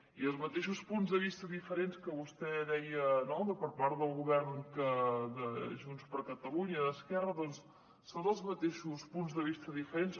i els mateixos punts de vista diferents que vostè deia no per part del govern de junts per catalunya i d’esquerra doncs són els mateixos punts de vista diferents